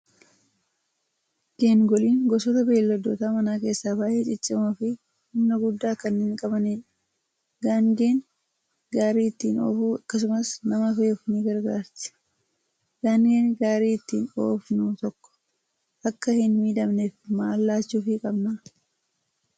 Geengoliin gosoota beeyladoota manaa keessaa baay'ee ciccimoo fi humna guddaa kanneen qabanidha. Gaangeen gaarii ittiin oofuu akkasumas nama fe'uuf ni gargaarti. Gaangeen gaarii ittiin oofnu tokko akka hin miidhamneef maal laachuufii qabnaa?